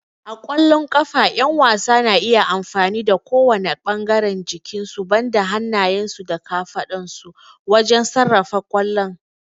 A ƙwallon ƙafa, ƴan wasan na iya amfani da kowane ɓangaren jikinsu banda hannayensu da kafadunsu wajen sarrafa kwallon.